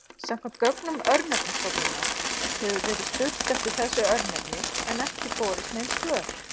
Samkvæmt gögnum Örnefnastofnunar hefur verið spurt eftir þessu örnefni en ekki borist svör.